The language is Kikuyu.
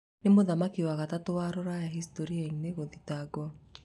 Nĩ mũthamaki wa gatatu wa Rũraya historia-ini gũthitangwo